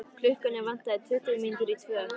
Klukkuna vantaði tuttugu mínútur í tvö.